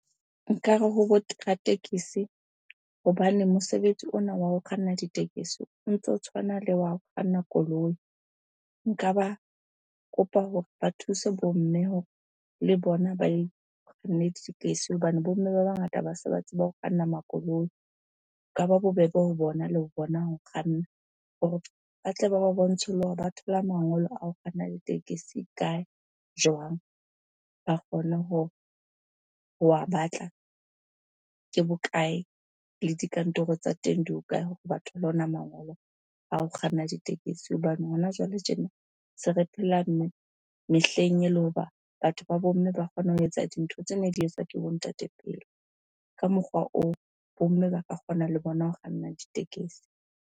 Nkare ho tekesi hobane mosebetsi ona wa ho kganna ditekesi o ntso tshwana le wa ho kganna koloi. Nka ba kopa hore ba thuse bo mme hore le bona kganne ditekesi hobane bo mme ba bangata ba se ba tseba ho kganna makoloi. Ho ka ba bobebe ho bona, le ho bona ho kganna hore ba tle ba ba bontshe le hore ba thola mangolo a ho kganna ditekesi kae? Jwang? Ba kgone ho wa batla. Ke bokae? Le dikantoro tsa teng di hokae hore ba thole ona mangolo a ho kganna ditekesi? Hobane hona jwale tjena, se re phela mehleng ele hoba batho ba bo mme ba kgona ho etsa dintho tsene di etswa ke bo ntate pele. Ka mokgwa oo, bo mme ba ka kgona le bona ho kganna ditekesi.